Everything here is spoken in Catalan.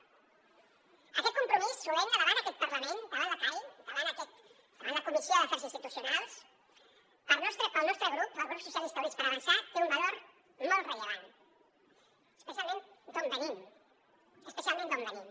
aquest compromís solemne davant aquest parlament davant la cai davant la comissió d’afers institucionals pel nostre grup el grup socialistes i units per avançar té un valor molt rellevant especialment d’on venim especialment d’on venim